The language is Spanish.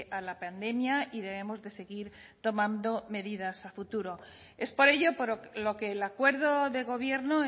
a la pandemia y debemos de seguir tomando medidas a futuro es por ello por lo que el acuerdo de gobierno